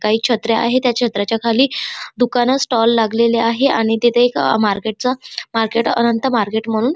काही छत्र्या आहेत त्या छत्र्याच्या खाली दुकान स्टॉल लागलेली आहे आणि तिथे एक मार्केट च मार्केट अनंत मार्केट म्हणून--